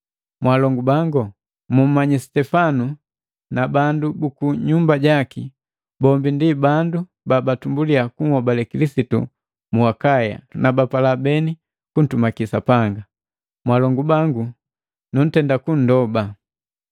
Mwalongu bangu, mumanyi Sitefana na bandu buku nyumba jaki, bombi ndi bandu buutumbuli kunhobale Kilisitu mu Akaya, na bapala beni kuntumaki Sapanga. Mwalongu bangu nuntenda kundoba.